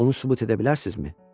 Bunu sübut edə bilərsizmi?